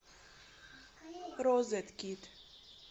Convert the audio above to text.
розеткед